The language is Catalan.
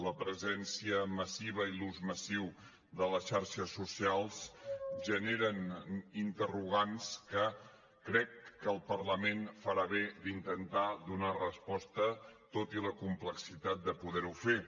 la presència massiva i l’ús massiu de les xarxes socials generen interrogants que crec que el parlament farà bé d’intentar donar hi resposta tot i la complexitat de poder ho fer